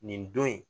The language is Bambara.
Nin don in